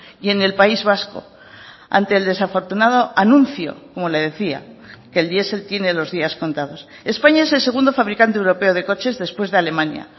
y en el país vasco ante el desafortunado anuncio como le decía que el diesel tiene los días contados españa es el segundo fabricante europeo de coches después de alemania